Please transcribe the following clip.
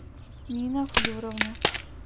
нина флеровна